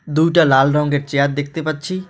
দুইটা লাল রঙের চেয়ার দেখতে পাচ্ছি।